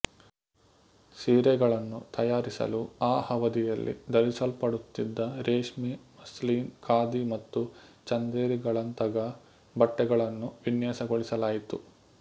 ಸೀರೆಗಳನ್ನು ತಯಾರಿಸಲು ಆ ಅವಧಿಯಲ್ಲಿ ಧರಿಸಲ್ಪಡುತ್ತಿದ್ದ ರೇಷ್ಮೆ ಮಸ್ಲಿನ್ ಖಾದಿ ಮತ್ತು ಚಂದೇರಿಗಳಂತಗ ಬಟ್ಟೆಗಳನ್ನು ವಿನ್ಯಾಸಗೊಳಿಸಲಾಯಿತು